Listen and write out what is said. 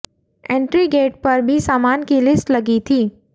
entry gate पर भी सामान की लिस्ट लगी थी